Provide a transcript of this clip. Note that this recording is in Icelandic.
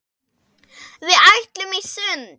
Við ætluðum í sund.